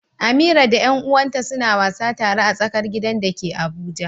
Amira da ƴan uwanta suna wasa tare a tsakar gidan da ke Abuja.